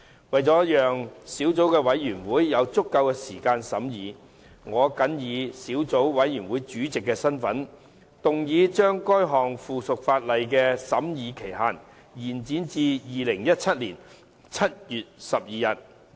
為了讓小組委員會有足夠時間進行審議，我謹以小組委員會主席的身份，動議將該項附屬法例的審議期限，延展至2017年7月12日。